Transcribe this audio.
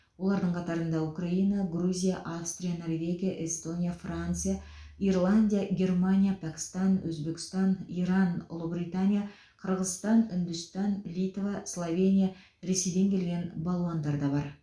олардың қатарында украина грузия австрия норвегия эстония франция ирландия германия пәкістан өзбекстан иран ұлыбритания қырғызстан үндістан литва словения ресейден келген балуандар бар